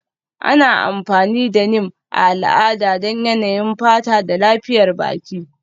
Ana amfani da Neem a al'ada don yanayin fata da lafiyar baki.